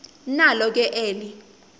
nalo ke eli